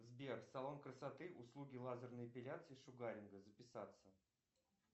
сбер салон красоты услуги лазерной эпиляции и шугаринга записаться